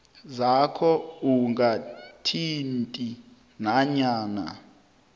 zakho ungathinti nanyana